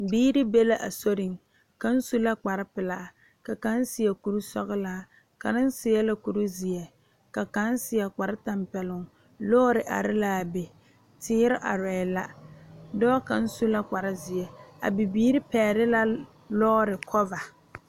Biire be la a soriŋ kaŋ su la kparepelaa ka kaŋ seɛ kurisɔglaa kaŋ meŋ seɛ la kurizeɛ ka kaŋ seɛ kparetapɛloŋ lɔɔre are laa be teere arɛɛ la dɔɔ kaŋ su la kparezeɛ a bibiire pɛgle la lɔɔre kɔva.